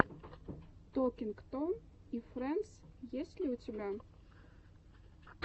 токинг том и фрэндс есть ли у тебя